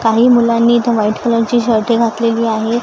काही मुलांनी इथं व्हाईट कलर ची शर्ट घातलेली आहे.